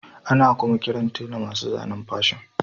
Ana kuma kiran tela masu zanen Fashion